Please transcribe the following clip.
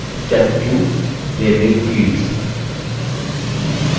step 2 labelling fields